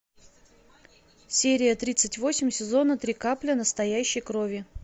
серия тридцать восемь сезона три капля настоящей крови